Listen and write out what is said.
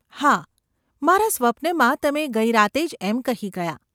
‘હા; મારા સ્વપ્નમાં તમે ગઈ રાતે જ એમ કહી ગયાં.